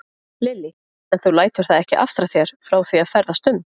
Lillý: En þú lætur það ekki aftra þér frá því að ferðast um?